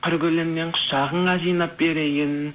қыр гүлінен құшағыңа жинап берейін